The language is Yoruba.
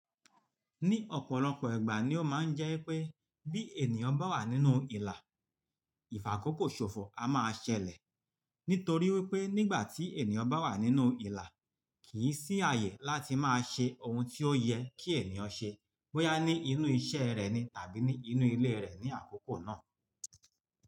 Ní ọ̀pọ̀lọpọ̀ ìgbà ni ó máa ń jẹ́ pé bí ènìyàn bá wà nínú ìlà, ìfàkókò ṣòfò a máa ṣẹlẹ̀. Nítorí wípé nígbà tí ènìyàn bá wà nínú ìlà, kìí sí àyè láti máa ṣe ohun tí ó yẹ kí ènìyàn ṣe bóyá ní inú iṣẹ́ rẹ̀ ni tàbí ní inú ilé rẹ̀ ní àkókò náà.